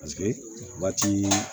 Paseke waati